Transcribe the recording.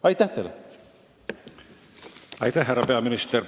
Aitäh, härra peaminister!